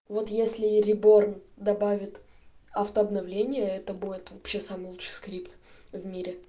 вот если реборн добавит автообновление это будет вообще самый лучший скрипт в мире